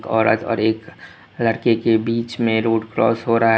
औरत और एकवो लड़के के बीच में रोड क्रॉस हो रहा है।